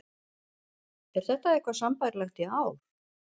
Er þetta eitthvað sambærilegt í ár?